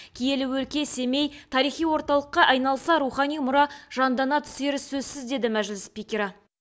киелі өлке семей тарихи орталыққа айналса рухани мұра жандана түсері сөзсіз деді мәжіліс спикері